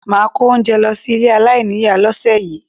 Máà kó oúnjẹ lọ sí ilé aláìníìyá lọ́sẹ̀ yìí